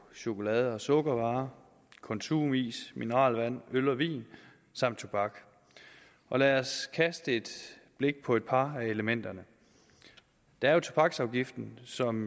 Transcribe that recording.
chokolade sukkervarer konsumis mineralvand øl og vin samt tobak og lad os kaste et blik på et par af elementerne der er tobaksafgiften som